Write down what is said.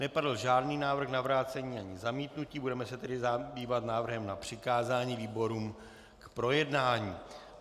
Nepadl žádný návrh na vrácení ani zamítnutí, budeme se tedy zabývat návrhem na přikázání výborům k projednání.